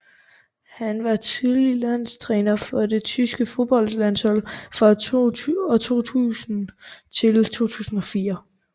Han var tillige landstræner for det tyske fodboldlandshold fra 2000 til 2004